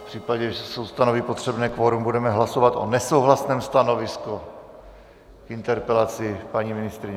V případě, že se ustanoví potřebné kvorum, budeme hlasovat o nesouhlasném stanovisku k interpelaci paní ministryně.